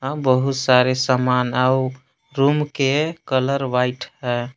बहुत सारे समान आउ रूम के कलर व्हाइट है।